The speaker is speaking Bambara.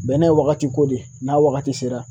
Bɛnɛ ye wagati ko de ye n'a wagati sera